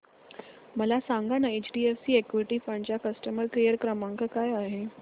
मला सांगाना HDFC equity fund चा कस्टमर केअर क्रमांक काय आहे